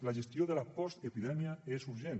la gestió de la postepidèmia és urgent